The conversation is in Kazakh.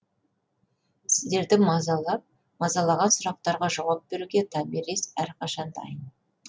сіздерді мазалаған сұрақтарға жауап беруге томирис әрқашан дайын